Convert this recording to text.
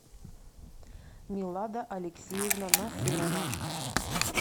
милада алексеевна насырова